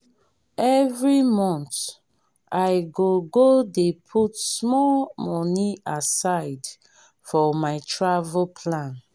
every month i go go dey put small money aside for my travel plan.